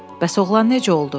Bəs oğlan necə oldu?